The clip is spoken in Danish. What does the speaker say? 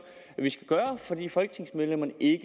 at vi skal gøre fordi folketingsmedlemmerne ikke